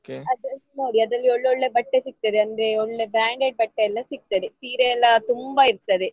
ಅದ್ರಲ್ಲಿ search ಮಾಡಿ ಅದ್ರಲ್ಲಿ ಒಳ್ಳೆ ಒಳ್ಳೆ ಬಟ್ಟೆ ಸಿಗ್ತದೆ ಅಂದ್ರೆ ಒಳ್ಳೆ branded ಬಟ್ಟೆಯೆಲ್ಲ ಸಿಗ್ತದೆ ಸೀರೆ ಎಲ್ಲ ತುಂಬಾ ಇರ್ತದೆ.